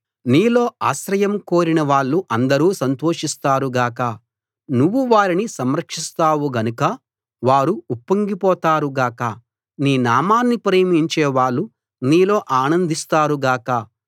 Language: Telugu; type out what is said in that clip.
నీలో ఆశ్రయం కోరిన వాళ్ళు అందరూ సంతోషిస్తారు గాక నువ్వు వారిని సంరక్షిస్తావు గనక వారు ఉప్పొంగిపోతారు గాక నీ నామాన్ని ప్రేమించే వాళ్ళు నీలో ఆనందిస్తారు గాక